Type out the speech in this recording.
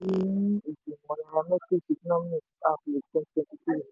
ìgbìmò nairametrics economic outlook twenty twenty three